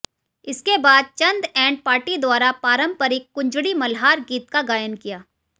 इसके बाद Chand and party द्वारा पारंपरिक कुंजड़ी मल्हार गीत का गायन किया